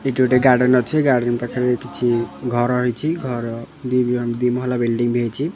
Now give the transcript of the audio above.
ଏଟି ଗୋଟେ ଗାର୍ଡେନ ଅଛି ଗାର୍ଡେନ ପାଖରେ କିଛି ଘର ହେଇଛି ଘର ଦି ବ ଦି ମହଲା ବିଲ୍ଡିଂ ବି ହେଇଚି।